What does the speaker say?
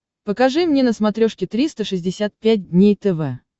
покажи мне на смотрешке триста шестьдесят пять дней тв